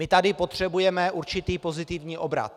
My tady potřebujeme určitý pozitivní obrat.